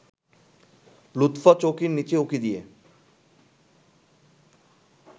লুৎফা চৌকির নিচে উঁকি দিয়ে